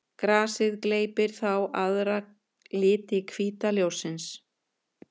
Grasið gleypir þá aðra liti hvíta ljóssins.